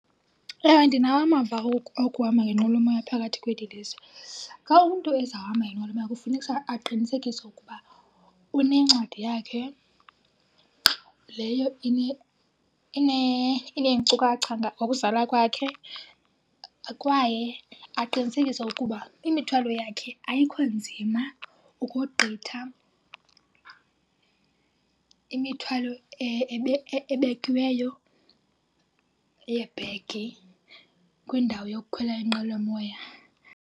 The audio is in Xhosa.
Ewe, ndinawo amava okuhamba ngenqwelomoya phakathi kweli lizwe. Xa umntu ezawuhamba ngenqwelomoya kufuneka aqinisekise ukuba unencwadi yakhe leyo ineenkcukacha ngokuzalwa kwakhe kwaye aqinisekise ukuba imithwalo yakhe ayikho nzima ukogqitha imithwalo ebekiweyo yeebhegi kwindawo yokukhwela inqwelomoya.